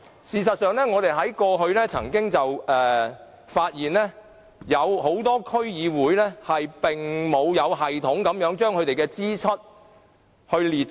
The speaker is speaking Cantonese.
事實上，我們過去曾發現很多區議會並無有系統地將支出列出。